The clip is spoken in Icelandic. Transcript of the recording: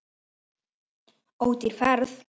Ódýr ferð.